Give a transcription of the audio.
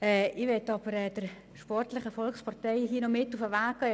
Ich möchte aber der sportlichen Volkspartei hier noch etwas mit auf den Weg geben.